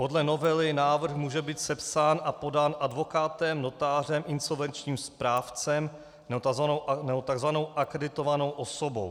Podle novely návrh může být sepsán a podán advokátem, notářem, insolvenčním správcem nebo tzv. akreditovanou osobou.